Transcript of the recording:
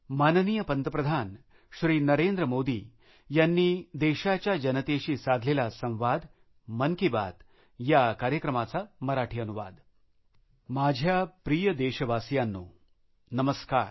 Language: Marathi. माझ्या प्रिय देशबांधवांनो नमस्कार